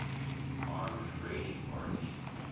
armed raiding party